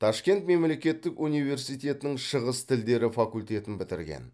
ташкент мемлекеттік университетінің шығыс тілдері факультетін бітірген